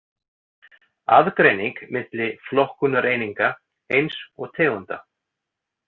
Aðgreining milli flokkunareininga eins og tegunda.